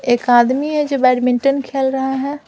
एक आदमी है जो बैडमिंटन खेल रहा है।